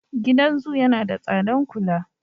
Gidan zo yana da tsadan kula.